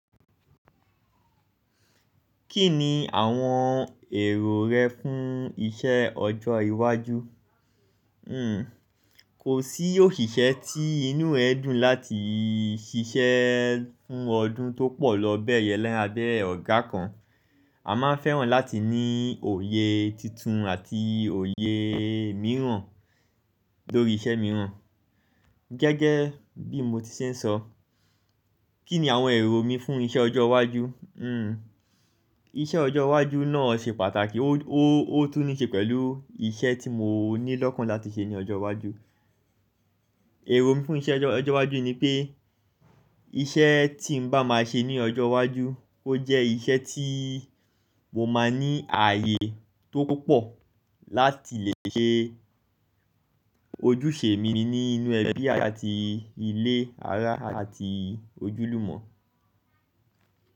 Kí ni àwọn èrò rẹ fún iṣẹ́ ọjọ́ iwájú? Hmm kò sí òṣìṣẹ́ tí inú ẹ dùn láti ṣiṣẹ́ fún ọdún tó pọ̀ lọ bẹ́ẹ̀ yẹn lẹ́gbẹ̀ẹ́ ọ̀gá kan. A máa fẹ́ràn láti ní òye tuntun àti òye mìíràn lórí iṣẹ́ mìíràn. Gẹ́gẹ́ bí mo ti ṣe ń sọ, kí ni àwọn èrò mi fún iṣẹ́ ọjọ́ iwájú? Hmm iṣẹ́ ọjọ́ iwájú náà ṣe pàtàkì ó, ó, ó tún ní ṣe pẹ̀lú iṣẹ́ tí mo ní lọ́kàn láti ṣe ní ọjọ́ iwájú. Èrò mi fún iṣẹ́ ọjọ́ iwájú ni pé iṣẹ́ tí ń bá máa ṣe ní ọjọ́ iwájú, ó jẹ́ iṣẹ́ tí mo máa ní ààyè tó pọ̀ láti lè ṣe ojúṣe mími ní inú ẹbí àti ilé ará àti ojúlùmọ̀.